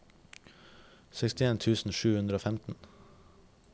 sekstien tusen sju hundre og femten